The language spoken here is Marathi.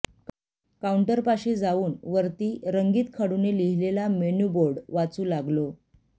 काऊंटरपाशी जाऊन वरती रंगीत खडूने लिहलेला मेन्यूबोर्ड वाचू लागलो